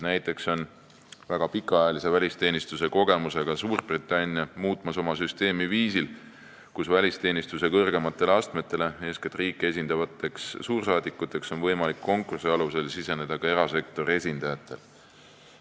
Näiteks, väga pikaajalise välisteenistuse kogemusega Suurbritannia muudab praegu oma süsteemi sellisel viisil, et välisteenistuse kõrgematele astmetele, eeskätt riiki esindavateks suursaadikuteks on võimalik konkursi alusel saada ka erasektori esindajatel.